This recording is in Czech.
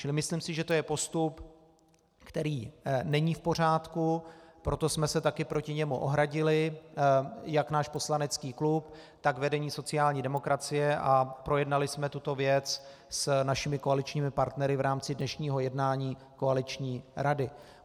Čili myslím si, že to je postup, který není v pořádku, proto jsme se také proti němu ohradili, jak náš poslanecký klub, tak vedení sociální demokracie, a projednali jsme tuto věc s našimi koaličními partnery v rámci dnešního jednání koaliční rady.